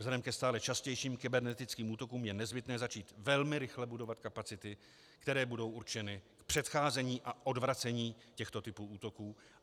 Vzhledem ke stále častějším kybernetickým útokům je nezbytné začít velmi rychle budovat kapacity, které budou určeny k předcházení a odvracení těchto typů útoků.